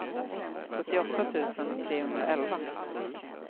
sjuttioåtta tusen trehundraelva